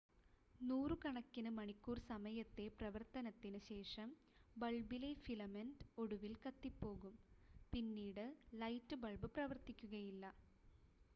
നൂറുകണക്കിന് മണിക്കൂർ സമയത്തെ പ്രവർത്തനത്തിന് ശേഷം ബൾബിലെ ഫിലമെൻ്റ് ഒടുവിൽ കത്തിപ്പോകും പിന്നീട് ലൈറ്റ് ബൾബ് പ്രവർത്തിക്കുകയില്ല